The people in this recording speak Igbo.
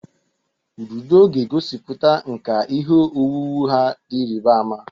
Ududo ga-egosiputa nkà ihe owuwu ha dị ịrịba ama.